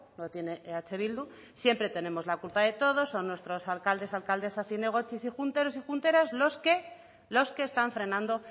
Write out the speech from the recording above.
la tiene eh bildu siempre tenemos la culpa de todo son nuestros alcaldes alcaldesas zinegotzis y junteros y junteras los que están frenando